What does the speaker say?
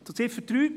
Zu Ziffer